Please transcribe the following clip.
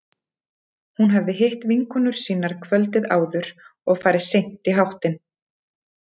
Hún hafði hitt vinkonur sínar kvöldið áður og farið seint í háttinn.